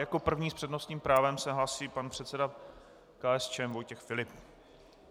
Jako první s přednostním právem se hlásí pan předseda KSČM Vojtěch Filip.